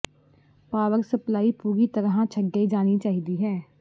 power supply ਪੂਰੀ ਤਰ੍ਹਾਂ ਨਾਲ ਛੱਡੇ ਜਾਣੀ ਚਾਹੀਦੀ ਹੈ